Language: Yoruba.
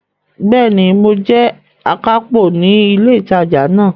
Bẹ́ẹ̀ni, mo jẹ́ akápò ní ilé ìtajà náà.